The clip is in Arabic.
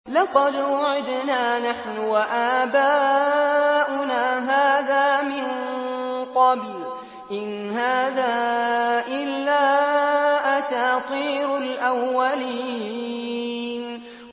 لَقَدْ وُعِدْنَا نَحْنُ وَآبَاؤُنَا هَٰذَا مِن قَبْلُ إِنْ هَٰذَا إِلَّا أَسَاطِيرُ الْأَوَّلِينَ